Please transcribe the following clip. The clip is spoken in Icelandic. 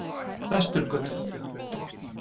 Vesturgötu